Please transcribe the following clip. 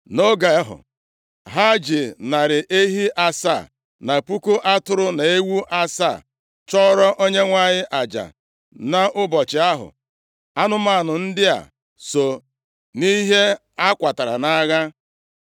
Nʼoge ahụ, ha ji narị ehi asaa na puku atụrụ na ewu asaa, chụọrọ Onyenwe anyị aja nʼụbọchị ahụ. Anụmanụ ndị a so nʼihe ha kwatara nʼagha.